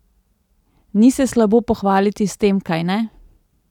Ni se slabo pohvaliti s tem, kajne?